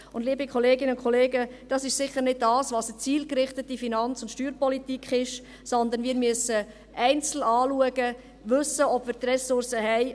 Und das, liebe Kolleginnen und Kollegen, ist sicher nicht eine zielgerichtete Finanz- und Steuerpolitik, sondern wir müssen es einzeln anschauen und wissen, ob wir die Ressourcen haben.